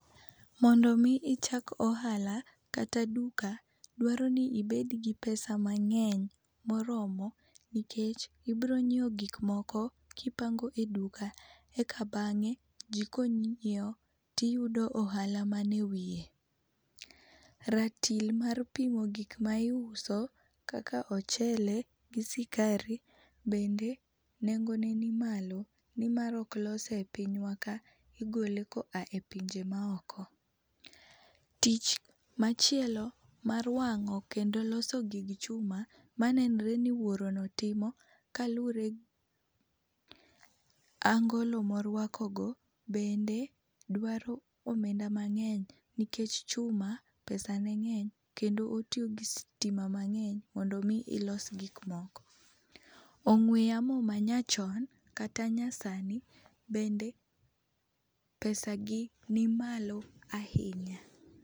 Mondo mi ichak ohala kata duka, dwaro ni ibed gi pesa mang'eny moromo nikech ibiro nyiewo gik moko kipango e duka eka bang'e ji konyiewo tiyudo ohala man ewiye. Ratil mar pimo gik ma iuso kaka ochele gi sikari bende nengone ni malo, nimar ok lose epinywa ka, igole ko a epinje maoko. Tich machielo mar wang'o kendo loso gig chuma manenre ni wuorono timo, kaluwore gi angolo moruakogo bende dwaro omenda mang'eny, nikech chuma pesane ng'eny kendo otiyo gi sitima mang'eny mondo mi ilos gik moko. Ong'we yamo manyachon kata nyasani bende pesagi ni malo ahinya.